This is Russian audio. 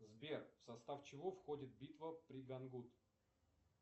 сбер в состав чего входит бита при гангут